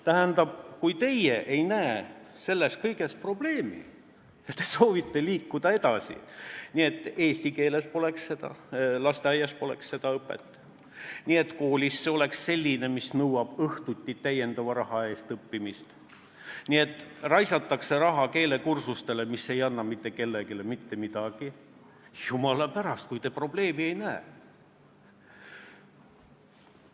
Tähendab, kui teie ei näe selles kõiges probleemi ja soovite liikuda edasi nii, et lasteaias poleks seda eesti keeles õpet ja koolis oleks see selline, mis nõuab õhtuti lisaraha eest õppimist, et raisatakse raha keelekursustele, mis ei anna mitte kellelegi mitte midagi – jumala pärast, kui te probleemi ei näe!